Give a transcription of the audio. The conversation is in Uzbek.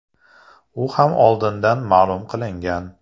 U ham oldindan ma’lum qilingan.